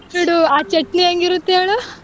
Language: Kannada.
ಬಿಟ್ಬಿಡು ಆ ಚಟ್ನಿ ಹೇಗಿರುತ್ತೆ ಹೇಳು.